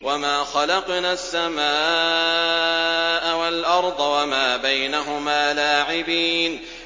وَمَا خَلَقْنَا السَّمَاءَ وَالْأَرْضَ وَمَا بَيْنَهُمَا لَاعِبِينَ